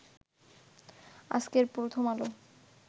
আজকের প্রথম আলো